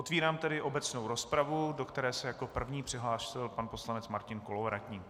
Otevírám tedy obecnou rozpravu, do které se jako první přihlásil pan poslanec Martin Kolovratník.